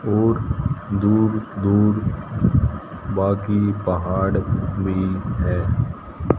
और दूर दूर बाकी पहाड़ भी है।